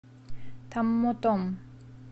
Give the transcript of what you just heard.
томмотом